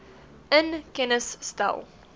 in kennis stel